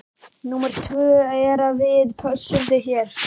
Númer tvö er að við pössum þig hér.